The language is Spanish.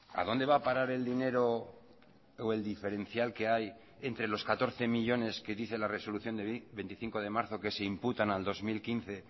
a dónde va a parar el dinero o el diferencial que hay entre los catorce millónes que dice la resolución de veinticinco de marzo que se imputan al dos mil quince